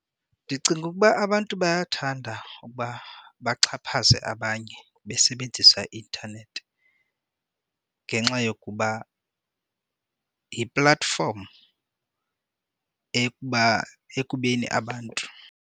Ndicinga ukuba abantu bayathanda ukuba baxhaphaze abanye basebenzisa i-intanethi ngenxa yokuba yi-platform ekuba ekubeni abantu.